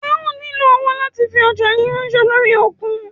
Ẹ ó nílo owó láti fi ọjá yín ránṣẹ́ lórí òkun.